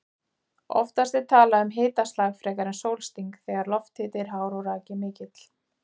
Oftast er talað um hitaslag frekar en sólsting þegar lofthiti er hár og raki mikill.